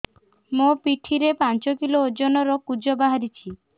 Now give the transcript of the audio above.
ମୋ ପିଠି ରେ ପାଞ୍ଚ କିଲୋ ଓଜନ ର କୁଜ ବାହାରିଛି